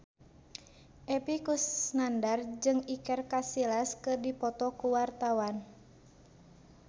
Epy Kusnandar jeung Iker Casillas keur dipoto ku wartawan